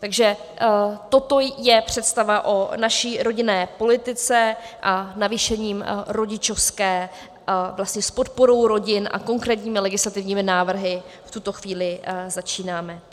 Takže toto je představa o naší rodinné politice a navýšením rodičovské vlastně s podporou rodin a konkrétními legislativními návrhy v tuto chvíli začínáme.